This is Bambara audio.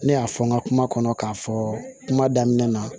Ne y'a fɔ n ka kuma kɔnɔ k'a fɔ kuma daminɛ na